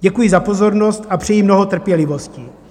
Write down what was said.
Děkuji za pozornost a přeji mnoho trpělivosti.